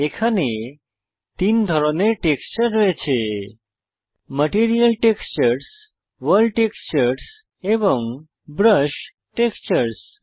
এখানে তিন ধরনের টেক্সচার আছে ম্যাটেরিয়াল টেক্সচার্স ভোর্ল্ড টেক্সচার্স এবং ব্রাশ টেক্সচার্স